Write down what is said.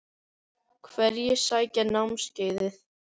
Hverjir sækja námskeiðið?